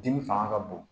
Dimi fanga ka bon